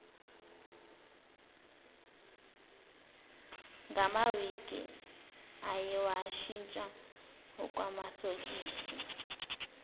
ngamawigi ayewashintsha okwamasokisi